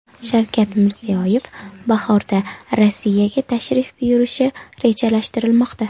Shavkat Mirziyoyev bahorda Rossiyaga tashrif buyurishi rejalashtirilmoqda.